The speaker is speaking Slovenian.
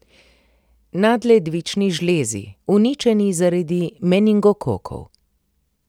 Nadledvični žlezi, uničeni zaradi meningokokov.